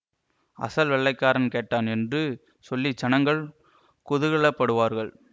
அசல் வெள்ளைக்காரன் கெட்டான் என்று சொல்லி ஜனங்கள் குதூகல படுவார்கள்